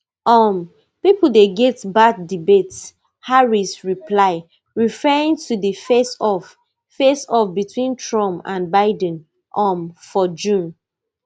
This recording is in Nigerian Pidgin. um pipo dey get bad debates harris reply referring to di faceoff faceoff between trump and biden um for june